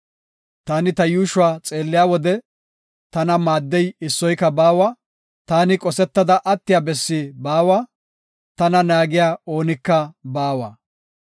Taani ta yuushuwa xeelliya wode, tana maaddey issoyka baawa. Taani qosetada attiya bessi baawa; tana naagiya oonika baawa.